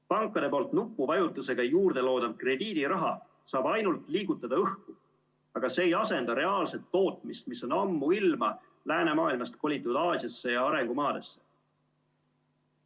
Pankade nupuvajutusega juurde loodav krediidiraha saab ainult liigutada õhku, aga see ei asenda reaalset tootmist, mis on ammuilma läänemaailmast kolitud Aasiasse ja arengumaadesse.